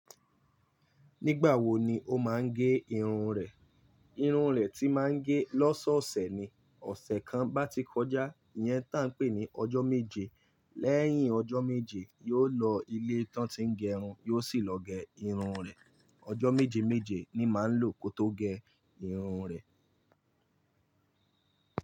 Nígbà wo ni o máa ń ge irun rẹ? Irun rẹ tí màá ń ge lọ́sọ̀ọ̀sẹ̀ ni. Ọ̀sẹ̀ kan bá ti kọjá, ìyẹn táa ń pè ní ọjọ́ méje. Lẹ́yìn ọjọ́ méje, yóò lọ ilé tán ti ń gẹ irun, yóò sì lọ gẹ irun rẹ̀. Ọjọ́ méje méje ni màá ń lò kó tó gẹ irun rẹ̀.